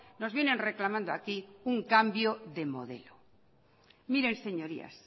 nos vienen reclamando aquí un cambio de modelo miren señorías